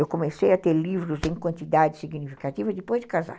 Eu comecei a ter livros em quantidade significativa depois de casar.